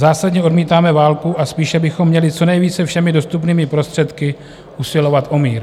Zásadně odmítáme válku a spíše bychom měli co nejvíce všemi dostupnými prostředky usilovat o mír.